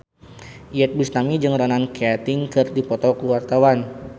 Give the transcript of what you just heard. Iyeth Bustami jeung Ronan Keating keur dipoto ku wartawan